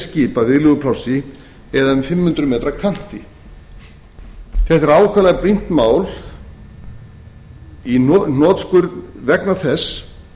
skipa viðleguplássi eða um fimm hundruð m kanti þetta er ákaflega brýnt mál í hnotskurn vegna þess